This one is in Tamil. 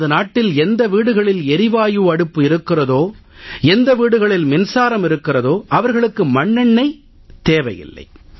நமது நாட்டில் எந்த வீடுகளில் எரிவாயு அடுப்பு இருக்கிறதோ எந்த வீடுகளில் மின்சாரம் இருக்கிறதோ அவர்களுக்கு மண்ணெண்ணெய் தேவை இல்லை